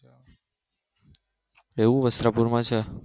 એવું વસ્ત્રાપુરમાં છે